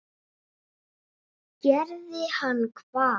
Gerði hann hvað?